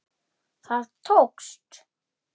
Það tókst.